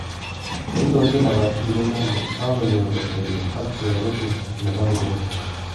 Neindochin lapatik kimeli kokanyor kotebi ak Cherugut nebo kaiboi